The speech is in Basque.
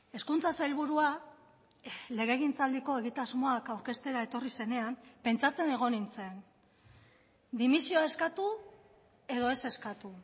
hezkuntza sailburua legegintzaldiko egitasmoak aurkeztera etorri zenean pentsatzen egon nintzen dimisioa eskatu edo ez eskatu